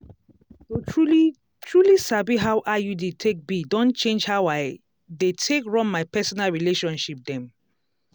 to truly-truly sabi how iud take be don change how i dey take run my personal relationship dem.